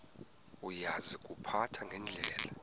uya kuziphatha ngendlela